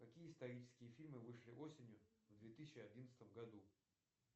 какие исторические фильмы вышли осенью в две тысячи одиннадцатом году